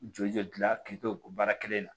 Jɔ dilan k'i to o baara kelen in na